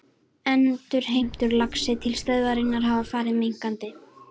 Endurheimtur á laxi til stöðvarinnar hafa farið minnkandi.